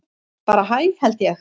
Bara hæ held ég.